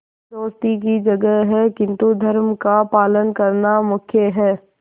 दोस्ती की जगह है किंतु धर्म का पालन करना मुख्य है